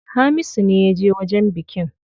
Hamisu ne yaje wajen bikin.